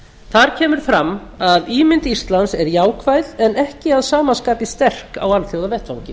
þar kemur fram að ímynd íslands er jákvæð en ekki að sama skapi sterk á alþjóðavettvangi